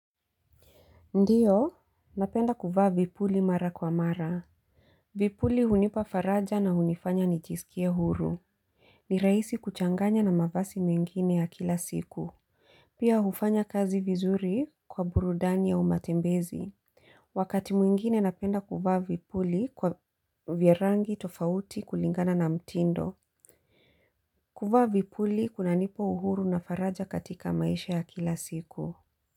Ndiyo, napenda kuvaa vipuli mara kwa mara. Vipuli hunipa faraja na hunifanya nijisikie huru. Ni rahisi kuchanganya na mavazi mengine ya kila siku. Pia hufanya kazi vizuri kwa burudani au matembezi. Wakati mwingine napenda kuvaa vipuli vya rangi tofauti kulingana na mtindo. Kuvaa vipuli kunanipa uhuru na faraja katika maisha ya kila siku.